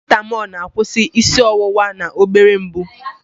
Parasitamọl na-akwụsị isi ọwụwa na obere mgbu.